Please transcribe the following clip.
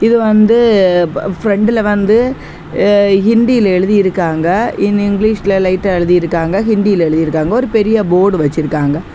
இது வந்து பிரண்டுல வந்து ஹிந்தில எழுதிருக்காங்க. இன் இங்கிலீஷ்ல லைட்டா எழுதி இருக்காங்க. ஹிந்தியில எழுதிருக்காங்க. ஒரு பெரிய போர்ட் வச்சிருக்காங்க.